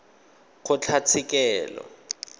kgotlatshekelo